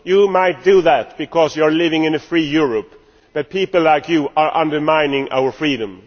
You can do that because you are living in a free Europe, but people like you are undermining our freedom.